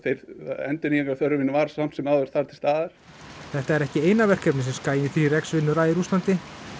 endurnýjunarþörfin var þar til staðar þetta er ekki eina verkefnið sem Skaginn þrjú x vinnur að í Rússlandi